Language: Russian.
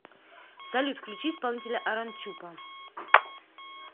салют включи исполнителя арончупа